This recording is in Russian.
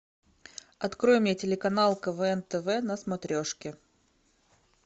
открой мне телеканал квн тв на смотрешке